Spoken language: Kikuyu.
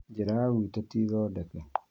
Njĩra ya gwitũ ti thondeke